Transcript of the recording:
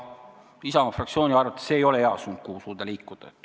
Isamaa fraktsiooni arvates see ei ole hea suund, kuhu liikuda.